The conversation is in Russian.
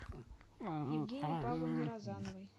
евгении павловне розановой